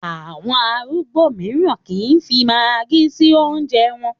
Àwọn arúgbó mìíràn kì í fi magí sí oúnjẹ wọn.